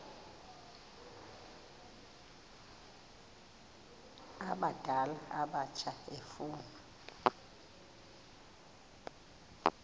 abadala abatsha efuna